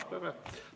Aa, väga hea!